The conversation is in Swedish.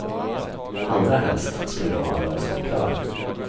Allra helst ska vi då ha en lösning klar.